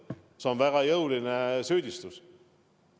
See on väga jõuline süüdistus.